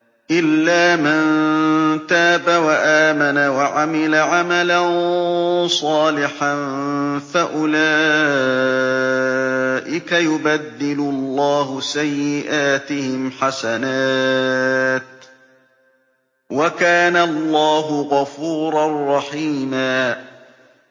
إِلَّا مَن تَابَ وَآمَنَ وَعَمِلَ عَمَلًا صَالِحًا فَأُولَٰئِكَ يُبَدِّلُ اللَّهُ سَيِّئَاتِهِمْ حَسَنَاتٍ ۗ وَكَانَ اللَّهُ غَفُورًا رَّحِيمًا